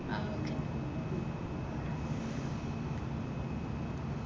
അഹ് okay.